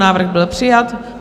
Návrh byl přijat.